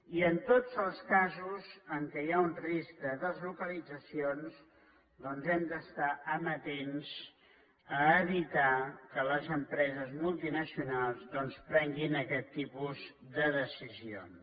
i en tots els casos en què hi ha un risc de deslocalitzacions hem d’estar amatents a evitar que les empreses multinacionals doncs prenguin aquests tipus de decisions